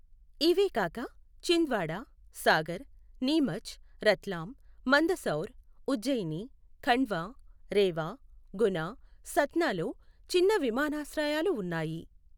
ఇవేగాక, చింద్వాడా, సాగర్, నీమచ్, రత్లాం, మందసౌర్, ఉజ్జయిని, ఖండ్వా, రేవా, గునా, సత్నాలో చిన్న విమానాశ్రయాలు ఉన్నాయి.